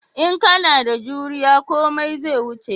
In kana da juriya komai zai wuce